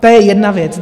To je jedna věc.